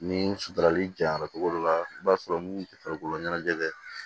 Ni suturali jara cogo dɔ la i b'a sɔrɔ mun tɛ farikolo ɲɛnajɛ